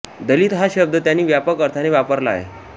दलित हा शब्द त्यांनी व्यापक अर्थाने वापरला आहे